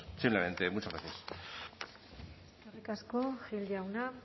simplemente muchas gracias eskerrik asko gil jauna